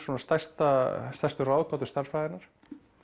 stærstu stærstu ráðgátu stærðfræðinnar